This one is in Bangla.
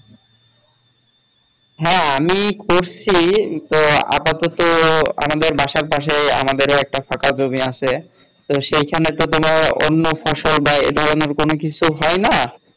হ্যাঁ আমি করছি তো আপাতত আমাদের বাসার পাশে আমাদের একটা ফাঁকা জমি আছে তো সেখানে তো কোন অন্য ফসল বা এধরনের কিছু হয় না